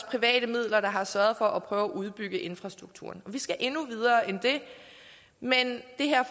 private midler har sørget for at prøve at udbygge infrastrukturen og vi skal endnu videre end det men det her